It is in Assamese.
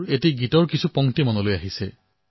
এটা গীতৰ কলি মোৰ মনলৈ আহিছে